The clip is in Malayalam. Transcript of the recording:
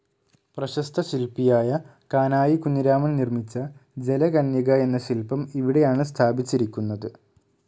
പ്രശസ്ത ശില്പിയായ കാനായി കുഞ്ഞിരാമൻ നിർമ്മിച്ച ജലകന്യക എന്ന ശില്പം ഇവിടെയാണ് സ്ഥാപിച്ചിരിക്കുന്നത്.